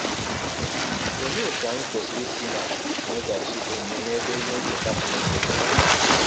Ọlee ọtụ anyị kwesịrị isi na - emeghachi ọmụme n’ebe ihe ncheta Chineke dị?